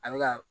A bɛ ka